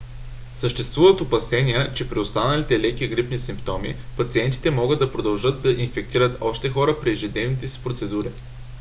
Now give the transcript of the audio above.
съществуват опасения че при останали леки грипни симптоми пациентите могат да продължат да инфектират още хора при ежедневните си процедури